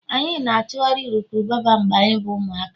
anyị na-achụgharị urukurubụba mgbe anyị bụ ụmụaka